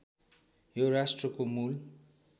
यो राष्ट्रको मूल